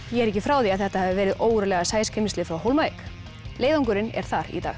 ég er ekki frá því að þetta hafi verið ógurlega frá Hólmavík leiðangurinn er þar í dag